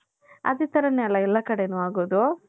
ಅದೇ ತರಾನೆ ಎಲ್ಲಾ ಕಡೆನು ಹಾಗೋದು .